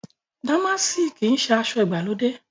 Dàmáàsì kìí ṣe aṣọ ìgbàlódé